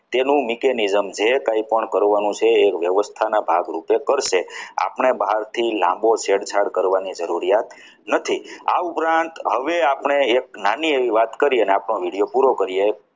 તેનું mechanism જે કંઈ પણ કરવાનું છે એ વ્યવસ્થિત ના ભાગરૂપે કરશે આપણી બહારથી લાંબો છેદ કરવાની જરૂરિયાત નથી આ ઉપરાંત હવે આપણે એક નાની એવી વાત કરીએ અને આપણો video પૂરો કરીએ.